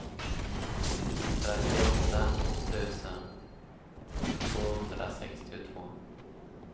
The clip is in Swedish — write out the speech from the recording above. trettioåtta tusen tvåhundrasextiotvå